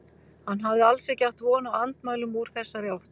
Hann hafði alls ekki átt von á andmælum úr þessari átt.